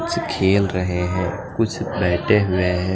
कुछ खेल रहे हैं कुछ लेटे हुए है।